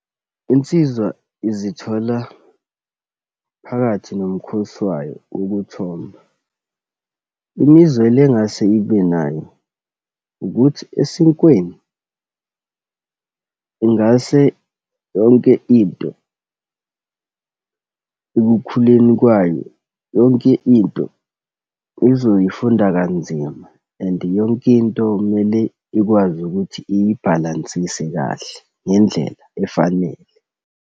Insizwa izithola phakathi nomkhosi wayo ukuthomba. Imizwelo engase ibe nayo, ukuthi esinkweni ingase yonke into ekukhuleni kwayo, yonke into uzoyifunda kanzima and yonke into, kumele ikwazi ukuthi iyibhalansise kahle ngendlela efanele.